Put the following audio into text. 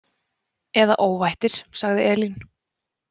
Eða óvættir, sagði Elín.